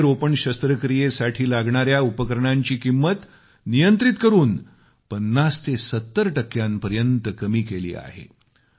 गुडघेरोपण शस्त्रक्रियेसाठी लागणाऱ्या उपकरणांची किंमत नियंत्रित करून 50 ते 70 टक्क्यांपर्यत कमी केली आहे